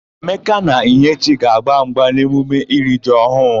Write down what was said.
Emeka na Ihechi ga-agba mgba n'emume iri ji ọhụụ.